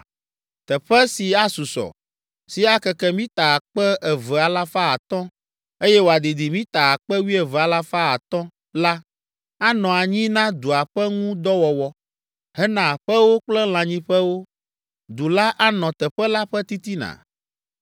“Teƒe si asusɔ, si akeke mita akpe eve alafa atɔ̃ (2,500), eye wòadidi mita akpe wuieve alafa atɔ̃ (12,500) la, anɔ anyi na dua ƒe ŋu dɔ wɔwɔ, hena aƒewo kple lãnyiƒewo. Du la anɔ teƒe la ƒe titina,